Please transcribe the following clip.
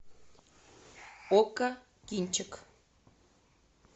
окко кинчик